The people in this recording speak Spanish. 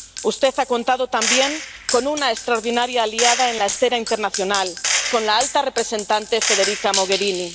Usted ha contado también con una extraordinaria aliada en la escena internacional, con la alta representante Federica Mogherini.